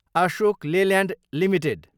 Ashok Leyland Ltd